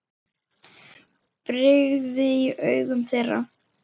brigði í augum þeirra.